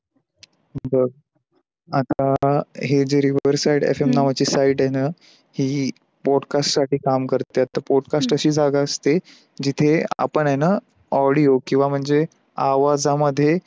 बघ, आता हे जे rever side आहे याच्या नावाची site आहे न ते podcast साठी काम करते podcast असी जागा असते जिथे, आपण आहे न audio किवाह म्हणजे आवाज मध्ये